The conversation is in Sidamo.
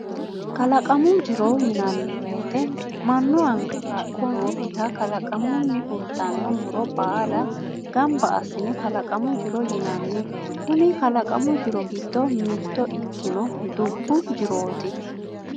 kalaqamu jiro yinanni wote mannu anga kaa; lo nookkiha, qalaqamunni fultanno muro baala gamba assine kalaqamu jiro yinanni, kuni kalaqamu jiro giddo mitto ikkino dubbu jirooti.